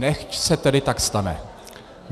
Nechť se tedy tak stane.